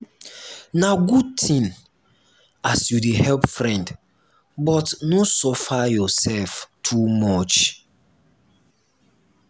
na good tin as you dey help friend but no suffer yoursef too much.